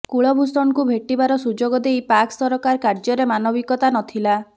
କୁଳଭୂଷଣଙ୍କୁ ଭେଟିବାର ସୁଯୋଗ ଦେଇ ପାକ୍ ସରକାର କାର୍ଯ୍ୟରେ ମାନବିକତା ନଥିଲା